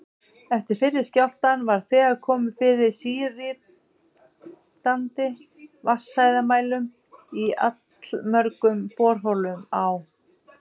Eftir fyrri skjálftann var þegar komið fyrir síritandi vatnshæðarmælum í allmörgum borholum á